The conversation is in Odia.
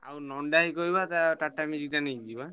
ମୁନା ଭାଇ କୁ କହିବା ତା TATA Magic ଟା ନେଇକି ଯିବା।